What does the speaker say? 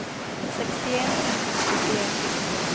sekstien tusen og syttien